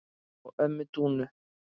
og ömmu Dúnu.